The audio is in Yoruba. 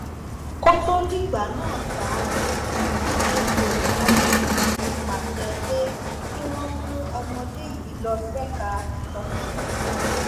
kó tóó dìgbà náà ṣá cc edward ajogun ti pàṣẹ pé kí wọ́n mú ọmọdé yìí lọ ṣèkà ìtọpinpin